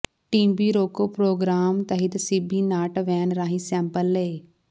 TB ਰੋਕੋ programme ਤਹਿਤ CB NAAT van ਰਾਹੀ ਸੈਂਪਲ ਲਏ